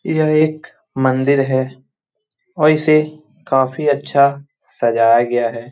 यह एक मंदिर है और इसे काफी अच्छा सजाया गया है।